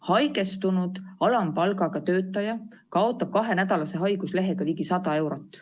Haigestunud alampalgaga töötaja kaotab kahenädalase haiguslehega ligi 100 eurot.